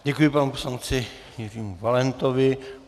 Děkuji panu poslanci Jiřímu Valentovi.